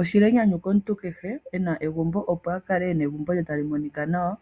Oshili enyanyu komuntu kehe ena egumbo opo akale ena egumbo lye tali monika nawa,